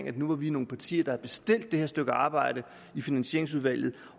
at nu var vi nogle partier der havde bestilt det stykke arbejde i finansieringsudvalget